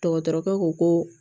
Dɔgɔtɔrɔkɛ ko ko